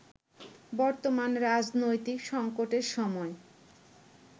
বর্তমান রাজনৈতিক সংকটের সময়